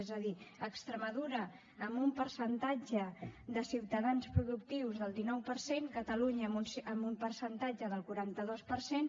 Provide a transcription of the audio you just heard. és a dir extremadura amb un percentatge de ciutadans productius del dinou per cent catalunya amb un percentatge del quaranta dos per cent